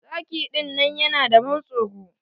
Zaki dinnan yana da ban tsoro.